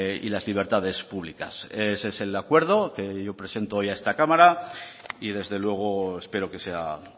y las libertades públicas ese es el acuerdo que yo presento hoy a esta cámara y desde luego espero que sea